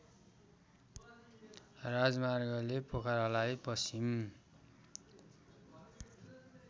राजमार्गले पोखरालाई पश्चिम